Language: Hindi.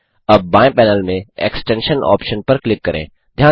अब बाएँ पैनल से एक्सटेंशन ऑप्शन पर क्लिक करें